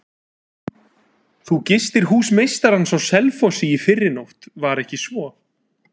Þú gistir hús meistarans á Selfossi í fyrrinótt, var ekki svo?